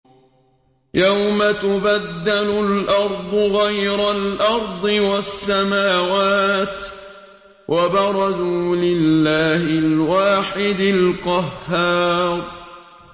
يَوْمَ تُبَدَّلُ الْأَرْضُ غَيْرَ الْأَرْضِ وَالسَّمَاوَاتُ ۖ وَبَرَزُوا لِلَّهِ الْوَاحِدِ الْقَهَّارِ